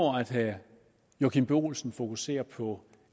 herre joachim b olsen fokuserer på